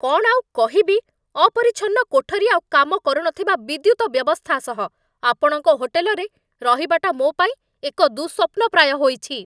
କ'ଣ ଆଉ କହିବି, ଅପରିଛନ୍ନ କୋଠରୀ ଆଉ କାମ କରୁନଥିବା ବିଦ୍ୟୁତ ବ୍ୟବସ୍ଥା ସହ ଆପଣଙ୍କ ହୋଟେଲରେ ରହିବାଟା ମୋ ପାଇଁ ଏକ ଦୁଃସ୍ୱପ୍ନ ପ୍ରାୟ ହୋଇଛି।